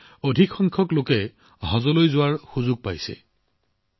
এতিয়া অধিক সংখ্যক লোকে হজত যোৱাৰ সুযোগ পাইছে